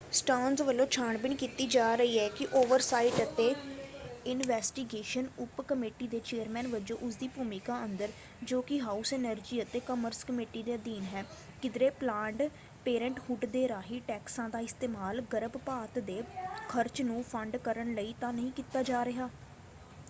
ਸਟਰਨਜ਼ ਵੱਲੋਂ ਛਾਣ-ਬੀਣ ਕੀਤੀ ਜਾ ਰਹੀ ਹੈ ਕਿ ਓਵਰਸਾਈਟ ਅਤੇ ਇਨਵੈਸਟੀਗੇਸ਼ਨ ਉਪ ਕਮੇਟੀ ਦੇ ਚੇਅਰਮੈਨ ਵਜੋਂ ਉਸਦੀ ਭੂਮਿਕਾ ਅੰਦਰ ਜੋ ਕਿ ਹਾਊਸ ਐਨਰਜੀ ਅਤੇ ਕਾਮਰਸ ਕਮੇਟੀ ਦੇ ਅਧੀਨ ਹੈ ਕਿਧਰੇ ਪਲਾਨਡ ਪੇਰੈਂਟਹੁੱਡ ਦੇ ਰਾਹੀਂ ਟੈਕਸਾਂ ਦਾ ਇਸਤੇਮਾਲ ਗਰਭਪਾਤ ਦੇ ਖਰਚ ਨੂੰ ਫੰਡ ਕਰਨ ਲਈ ਤਾਂ ਨਹੀਂ ਕੀਤਾ ਜਾ ਰਿਹਾ।